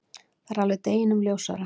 Það er alveg deginum ljósara.